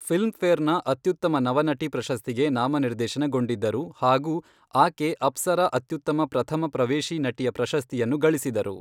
ಫಿಲ್ಮ್ಫೇರ್ನ ಅತ್ಯುತ್ತಮ ನವನಟಿ ಪ್ರಶಸ್ತಿಗೆ ನಾಮನಿರ್ದೇಶನಗೊಂಡಿದ್ದರು ಹಾಗೂ ಆಕೆ ಅಪ್ಸರಾ ಅತ್ಯುತ್ತಮ ಪ್ರಥಮ ಪ್ರವೇಶಿ ನಟಿಯ ಪ್ರಶಸ್ತಿಯನ್ನು ಗಳಿಸಿದರು.